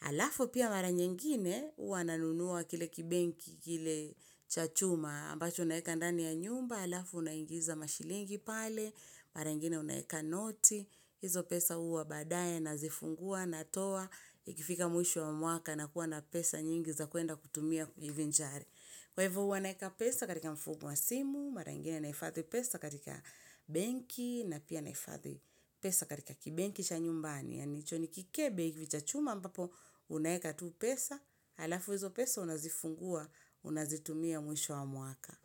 Halafu pia mara nyengine huwa nanunuwa kile kibengi, kile cha chuma ambacho unaeka ndani ya nyumba, alafu unaingiza mashilingi pale mara ingine unaeka noti, hizo pesa huwa baadaye nazifungua natoa ikifika mwisho wa mwaka na kuwa na pesa nyingi za kwenda kutumia kujivinjari kwa hivo huwa naeka pesa katika mfumo wa simu, mara ingine naifadhi pesa katika benki na pia nahifadhi pesa katika kibenki cha nyumbani. Yani hicho ni kikebe hivi cha chuma ambapo unaeka tu pesa, halafu hizo pesa unazifungua, unazitumia mwisho wa mwaka.